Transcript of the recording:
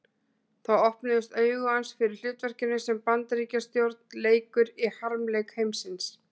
Þá opnuðust augu hans fyrir hlutverkinu sem Bandaríkjastjórn leikur í harmleik heimsins.